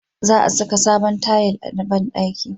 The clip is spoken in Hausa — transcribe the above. Za a saka sabon tayil a banɗaki